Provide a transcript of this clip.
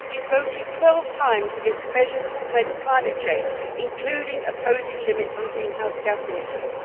He has voted 12 times against measures to prevent climate change, including opposing limits on greenhouse gas emissions.